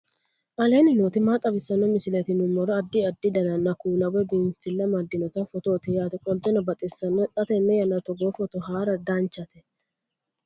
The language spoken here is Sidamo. aleenni nooti maa xawisanno misileeti yinummoro addi addi dananna kuula woy biinsille amaddino footooti yaate qoltenno baxissannote xa tenne yannanni togoo footo haara danvchate